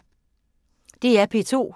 DR P2